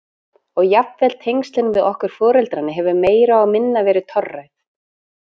Og jafnvel tengslin við okkur foreldrana höfðu meira og minna verið torræð.